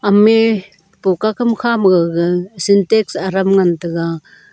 me poka kam kha ma gaga santank adam ngan taga.